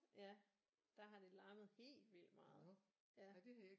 Ja der har det larmet helt vildt meget ja